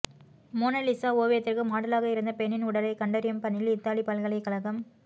Mona Lisa ஓவியத்திற்கு மாடலாக இருந்த பெண்ணின் உடலை கண்டறியும் பணியில் இத்தாலி பல்கலைக்கழகம்